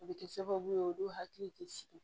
O bɛ kɛ sababu ye olu hakili tɛ sigi